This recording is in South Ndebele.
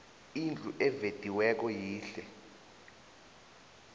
indlu evediweko yihle